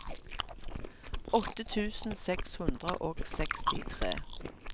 åtte tusen seks hundre og sekstitre